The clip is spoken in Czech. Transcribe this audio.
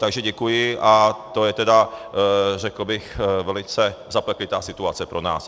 Takže děkuji, a to je tedy, řekl bych velice zapeklitá situace pro nás.